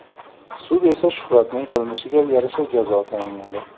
Sud esa Shuhratning qilmishiga yarasha jazo tayinladi.